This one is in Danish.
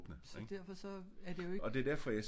Så derfor så er det jo ikke